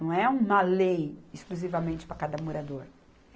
Não é uma lei exclusivamente para cada morador.